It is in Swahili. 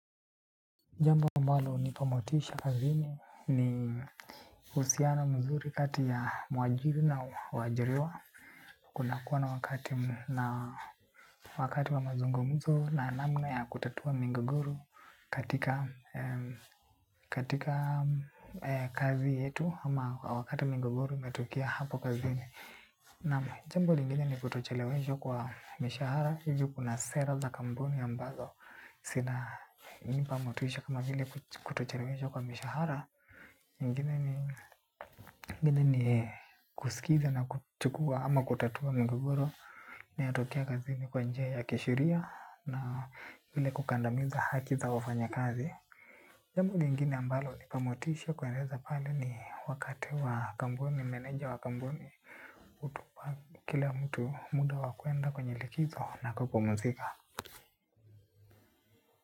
Jambo ambalo hunipa motisha kazini ni usiana mzuri kati ya mwajiri na wajiriwa. Kuna kuwa na wakati na wakati wa mazungumuzo na namna ya kutatua migogoro katika katika kazi yetu ama wakati migogoro imetokea hapo kazini. Naam, jambo lingine ni kutochelewesha kwa mishahara, hivyo kuna sera za kambuni ambazo. Zina nipa motisha kama vile kutocheleweshwa kwa mishahara. Ingine ni kusikiza na kutukua ama kutatua migogoro, inatokea kazini kwa njia ya kisheria na vile kukandamiza haki za wafanyakazi. Jambo lingine ambalo hunipa motisha kueneza pale ni wakati wa kambuni, meneja wa kambuni, hutupa kila mtu muda wakuenda kwenye likizo na kupumuzika.